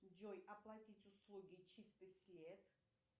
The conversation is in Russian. джой оплатить услуги чистый след